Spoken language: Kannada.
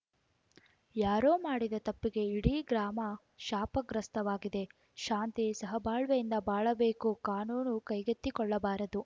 ಯಾರೋ ಮಾಡಿದ ತಪ್ಪಿಗೆ ಇಡೀ ಗ್ರಾಮ ಶಾಪಗ್ರಸ್ಥವಾಗಿದೆ ಶಾಂತಿ ಸಹಬಾಳ್ವೆಯಿಂದ ಬಾಳಬೇಕು ಕಾನೂನು ಕೈಗೆತ್ತಿಕೊಳ್ಳಬಾರದು